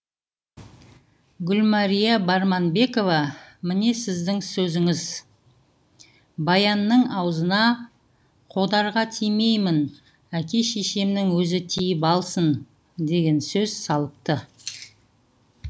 гүлмәрия барманбекова міне сіздің сөзіңіз баянның аузына қодарға тимеймін әке шешемнің өзі тиіп алсын деген сөз салыпты